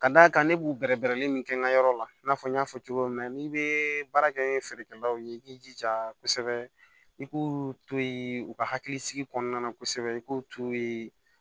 Ka d'a kan ne b'u bɛrɛbɛrɛ min kɛ n ka yɔrɔ la i n'a fɔ n y'a fɔ cogo min na n'i bɛ baara kɛ ni feerekɛlaw ye i k'i jija kosɛbɛ i k'u to ye u ka hakilisigi kɔnɔna na kosɛbɛ i k'u to yen